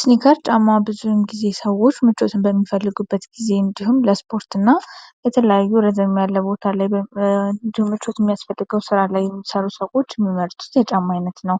ስኒከር ጫማ ብዙን ጊዜ ሰዎች ምቾትን በሚፈልጉበት ጊዜ እንዲሁም ለስፖርት እና የተለያዩ ረዘም ያለ ቦታላይ እንዲሁም ምቾት የሚያስፈልገው ሥራ ላይ የምሠሩ ሰዎች የሚመርጡት የጫማ አይነት ነው